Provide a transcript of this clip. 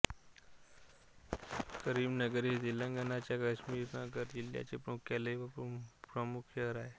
करीमनगर हे तेलंगणाच्या करीमनगर जिल्ह्याचे मुख्यालय व प्रमुख शहर आहे